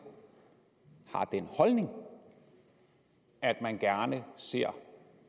har den holdning at man gerne ser